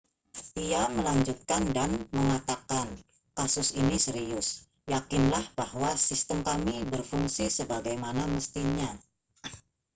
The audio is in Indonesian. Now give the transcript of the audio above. ia melanjutkan dan mengatakan kasus ini serius yakinlah bahwa sistem kami berfungsi sebagaimana mestinya